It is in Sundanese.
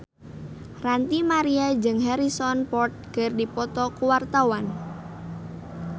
Ranty Maria jeung Harrison Ford keur dipoto ku wartawan